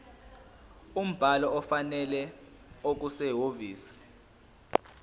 umbhalo ofanele okusehhovisi